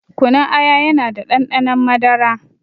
Kunun aya yana da ɗanɗanon madara